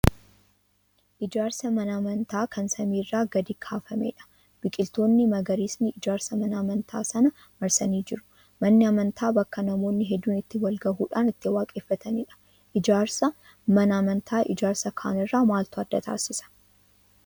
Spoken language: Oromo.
Ijaarsa mana amantaa kan samii irraa gadi kaafamedha. Biqiloonni magariisni ijaarsa mana amantaa sanaa marsanii jiru. Manni amantaa bakka namoonni hedduun itti walgahuudhaan itti waaqeffatanidha. Ijaarsa mana amantaa ijaarsa kaan irraa maaltu adda taasisa?